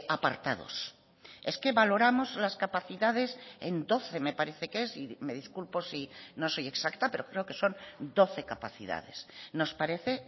apartados es que valoramos las capacidades en doce me parece que es me disculpo si no soy exacta pero creo que son doce capacidades nos parece